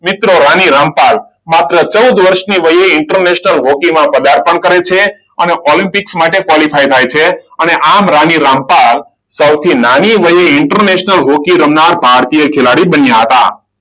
મિત્રો રાણી રામપાલ માત્ર ચૌદ વર્ષની વયે ઇન્ટરનેશનલ હોકીમાં પદાર્પણ કરે છે. અને ઓલમ્પિક માટે ક્વોલિફાય થાય છે. અને આમ રાણી રામપાલ સૌથી નાની હોય ઇન્ટરનેશનલ હોકી રમનાર ભારતીય ખેલાડી બન્યા હતા.